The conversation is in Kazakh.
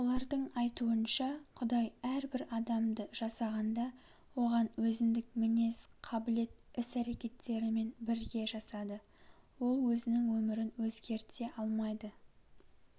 олардың айтуынша құдай әрбір адамды жасағанда оған өзіндік мінез қабілет іс-әрекеттерімен бірге жасады ол өзінің өмірін өзгерте алмайды